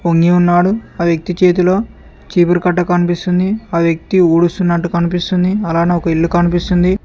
వొంగి ఉన్నాడు ఆ వ్యక్తి చేతిలో చీపురు కట్ట కనిపిస్తుంది ఆ వ్యక్తి ఊడుస్తున్నట్టు కనిపిస్తుంది అలానే ఒక ఇల్లు కనిపిస్తుంది.